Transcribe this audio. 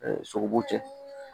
sogobu cɛ